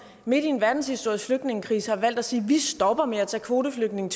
midt i en verdenshistorisk stor flygtningekrise har valgt at sige at de stopper med at tage kvoteflygtninge